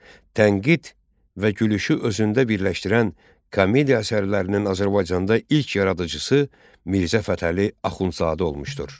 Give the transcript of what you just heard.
Tənqid və gülüşü özündə birləşdirən komediya əsərlərinin Azərbaycanda ilk yaradıcısı Mirzə Fətəli Axundzadə olmuşdur.